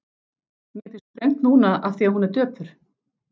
Mér finnst þröngt núna afþvíað hún er döpur.